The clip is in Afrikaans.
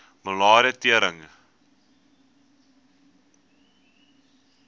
malaria tering